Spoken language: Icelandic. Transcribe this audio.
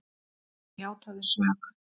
Hann játaði sök.